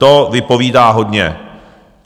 To vypovídá hodně.